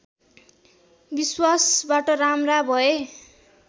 विश्वासबाट राम्रा भए